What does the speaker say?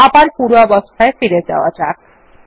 আবার পূর্বাবস্থায় ফিরে যাওয়া যাক